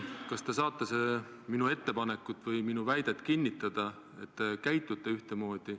Kas te saate minu ettepanekut või väidet, et käitute ühtemoodi, kinnitada?